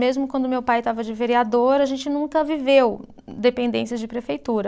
Mesmo quando meu pai estava de vereador, a gente nunca viveu dependências de prefeitura.